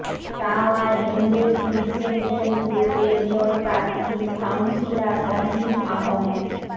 tower Hamlets Independent গ্রুপের mayor প্রার্থী councillor Ohid Ahmad